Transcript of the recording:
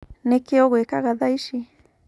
Nĩkĩĩ ũgwikaga tha ici.